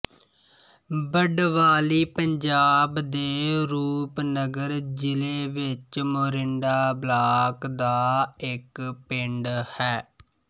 ਬਡਵਾਲੀ ਪੰਜਾਬ ਦੇ ਰੂਪਨਗਰ ਜਿਲੇ ਵਿੱਚ ਮੋਰਿੰਡਾ ਬਲਾਕ ਦਾ ਇੱਕ ਪਿੰਡ ਹੈ